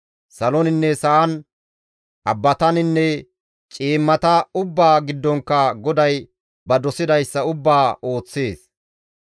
Saloninne sa7an, abbataninne ciimmata ubbaa giddonkka GODAY ba dosidayssa ubbaa ooththees.